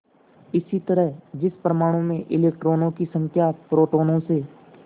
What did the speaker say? इसी तरह जिस परमाणु में इलेक्ट्रॉनों की संख्या प्रोटोनों से